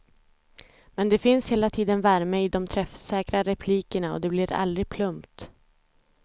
Men det finns hela tiden värme i de träffsäkra replikerna och det blir aldrig plumpt.